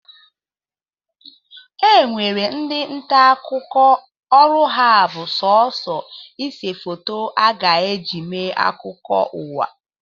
E nwere ndị nta akụkọ ọrụ ha bụ sọsọ ise foto a ga-eji eme akụkọ ụwa